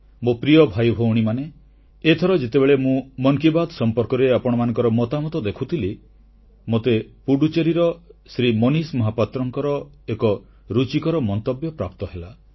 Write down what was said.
ମୋ ପ୍ରିୟ ଭାଇଭଉଣୀମାନେ ଏଥର ଯେତେବେଳେ ମୁଁ ମନ୍ କି ବାତ୍ ସମ୍ପର୍କରେ ଆପଣମାନଙ୍କର ମତାମତ ଦେଖୁଥିଲି ମୋତେ ପୁଡୁଚେରୀର ଶ୍ରୀ ମନିଷ ମହାପାତ୍ରଙ୍କର ଏକ ରୁଚିକର ମନ୍ତବ୍ୟ ପ୍ରାପ୍ତ ହେଲା